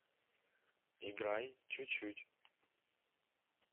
играй чуть чуть